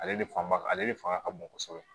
Ale de fanba ale de fanga ka bon kosɛbɛ